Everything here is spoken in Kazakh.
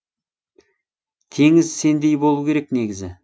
теңіз сендей болу керек негізі